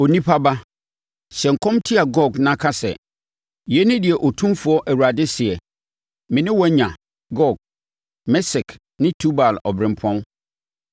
“Onipa ba, hyɛ nkɔm tia Gog na ka sɛ: ‘Yei ne deɛ Otumfoɔ Awurade seɛ: Me ne wo anya, Gog, Mesek ne Tubal ɔberempɔn.